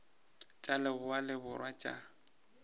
tša leboa le borwa tša